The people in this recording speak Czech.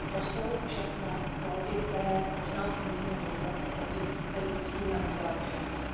To jsou všechno plody, které možná sklízíme dodnes a proti kterým musíme udělat všechno.